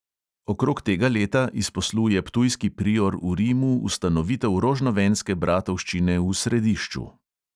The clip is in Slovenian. Okrog tega leta izposluje ptujski prior v rimu ustanovitev rožnovenske bratovščine v središču.